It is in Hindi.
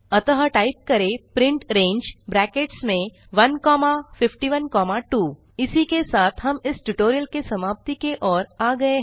अतः टाइप करें प्रिंट रंगे ब्रैकेट्स में 1 कॉमा 51 कॉमा 2 इसी के साथ हम इस ट्यूटोरियल की समाप्ति की ओर आ गये हैं